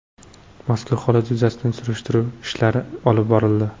Mazkur holat yuzasidan surishtiruv ishlari olib borildi.